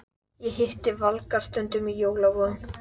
Ég hitti Valgarð stundum í jólaboðum.